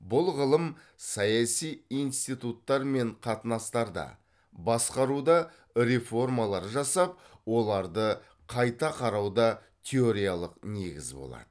бұл ғылым саяси институттар мен қатынастарда басқаруда реформалар жасап оларды қайта қарауда теориялық негіз болады